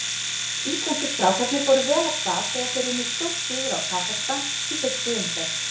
Íslensku strákarnir fóru vel af stað þegar þeir unnu stórsigur á Kasakstan í fyrstu umferð.